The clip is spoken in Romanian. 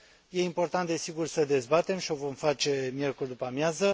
E important, desigur, să dezbatem și o vom face miercuri după amiază.